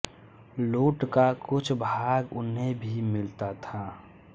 लूट का कुछ भाग उन्हें भी मिलता था